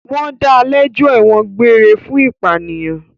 Wọ́n da lẹ́jọ́ ẹ̀wọ̀n egbére fún ìpànìyàn.